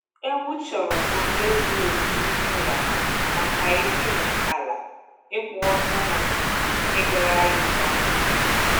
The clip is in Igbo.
Ewu chọrọ ohere zuru oke n'ime ụlọ ha makai dine ala, ịkwụ ọtọ, na ịgagharị nke ọma.